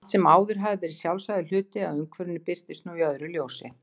Allt sem áður hafði verið sjálfsagður hluti af umhverfinu birtist nú í öðru ljósi.